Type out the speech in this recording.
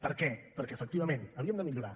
per què perquè efectivament havíem de millorar